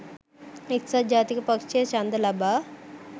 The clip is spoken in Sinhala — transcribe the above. එක්සත් ජාතික පක්ෂය ඡන්ද ලබා